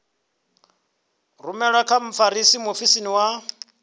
rumelwe kha mfarisa muofisiri wa